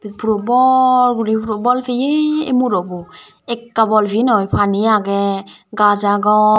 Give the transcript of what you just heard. puro bor guri puro bol peye ey murobo ekka bol piye noi pani agey gaz agon.